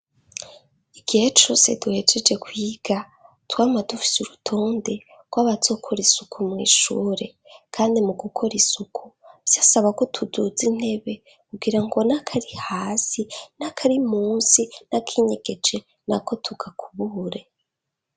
Igihe cose duhejeje kwiga twama dufise urutonde rw’abazokora isuku mw'ishure, kandi mu gukora isuku vyasaba ko tuduze intebe kugira ngo n'akari hasi n'akari musi n'akinyegeje na ko tugakubure.